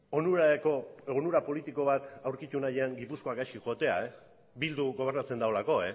onura politikorako gipuzkoak gaizki joatea bilduk gobernatzen duelako